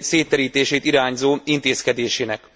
szétterítését irányzó intézkedésének.